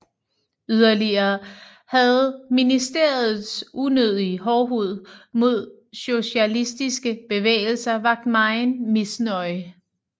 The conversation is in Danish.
Yderligere havde ministeriets unødige hårdhed mod socialistiske bevægelser vakt megen misnøje